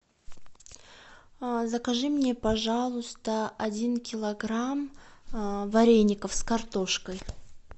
закажи мне пожалуйста один килограмм вареников с картошкой